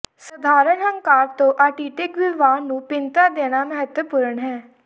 ਸਧਾਰਣ ਹੰਕਾਰ ਤੋਂ ਆਟਿਟਿਕ ਵਿਵਹਾਰ ਨੂੰ ਭਿੰਨਤਾ ਦੇਣਾ ਮਹੱਤਵਪੂਰਨ ਹੈ